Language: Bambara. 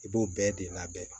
I b'o bɛɛ de labɛn